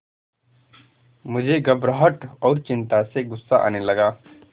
मुझे घबराहट और चिंता से गुस्सा आने लगा